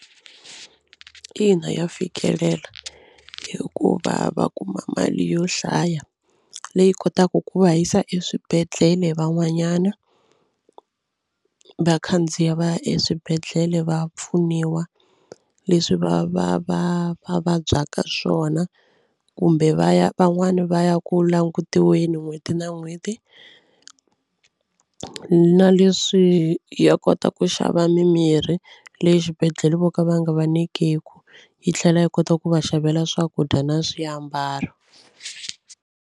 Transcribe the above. Ina ya fikelela hikuva va kuma mali yo hlaya leyi kotaka ku va yisa eswibedhlele van'wanyana vakhandziya va ya eswibedhlele va ya pfuniwa leswi va va va va vabyaka swona kumbe va ya van'wani va ya ku langutiweke n'hweti na n'hweti na leswi ya kota ku xava mimirhi leyi xibedhlele vo ka va nga va nyikiku yi tlhela yi kota ku va xavela swakudya na swiambalo.